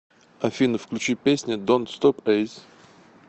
афина включи песня донт стоп эс